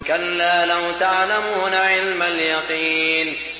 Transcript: كَلَّا لَوْ تَعْلَمُونَ عِلْمَ الْيَقِينِ